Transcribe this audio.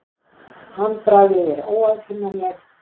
Handbragðið er óaðfinnanlegt.